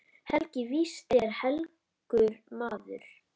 Helgi víst er helgur maður.